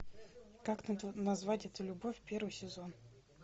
как назвать эту любовь первый сезон